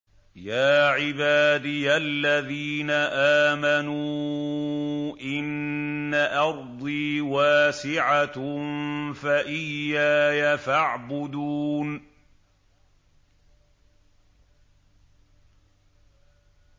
يَا عِبَادِيَ الَّذِينَ آمَنُوا إِنَّ أَرْضِي وَاسِعَةٌ فَإِيَّايَ فَاعْبُدُونِ